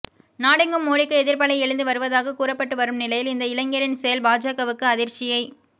நாடெங்கும் மோடிக்கு எதிர்ப்பலை எழுந்து வருவதாக கூறப்பட்டு வரும் நிலையில் இந்த இளைஞரில் செயல் பாஜகவுக்கு அதிர்ச்சியை